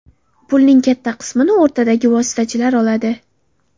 Pulning katta qismini o‘rtadagi vositachilar oladi.